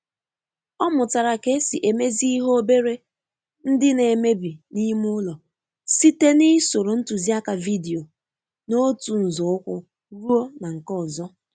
Ọ mụtara ka esi emezi ihe obere ndi na emebi na ime ụlọ site na ịsoro ntuzi aka vidio n'otu nzo ụkwụ ruo na nke ọzọ.